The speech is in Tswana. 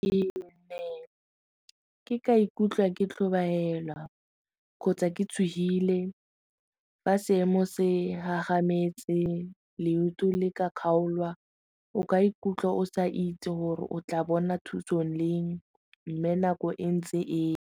Ke ne ke ka ikutlwa ke tlhobaela kgotsa ke tshogile fa seemo se gagametse, leoto le ka kgaolwa o ka ikutlwa o sa itse gore o tla bona thuso leng mme nako e ntse e.